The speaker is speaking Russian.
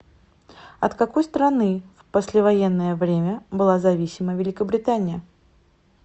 от какой страны в послевоенное время была зависима великобритания